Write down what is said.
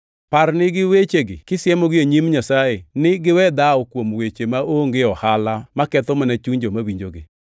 Par nigi wechegi kisiemogi e nyim Nyasaye ni giwe dhawo kuom weche maonge ohala maketho mana chuny joma winjogi.